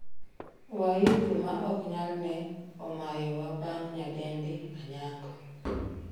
waihu ma ok nyal ne omayowa bang' nyadendi Anyango